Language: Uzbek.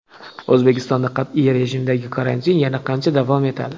O‘zbekistonda qat’iy rejimdagi karantin yana qancha davom etadi?